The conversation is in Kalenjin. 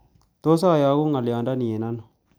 Tos' ayogun ng'oliondoni eng' ano